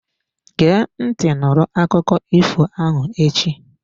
Gee ntị nụrụ akụkọ ifo ahụ echi!